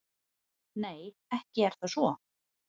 Nei, ekki er það svo.